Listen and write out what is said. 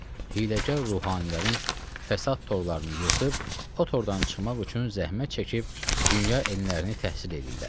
Hiyləgər ruhanilərin fəsad torlarını yırtıb o tordan çıxmaq üçün zəhmət çəkib dünya elmlərini təhsil eləyirlər.